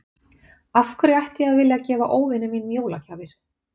Af hverju ætti ég að vilja að gefa óvinum mínum jólagjafir?